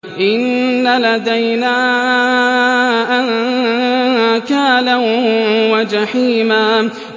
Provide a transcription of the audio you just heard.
إِنَّ لَدَيْنَا أَنكَالًا وَجَحِيمًا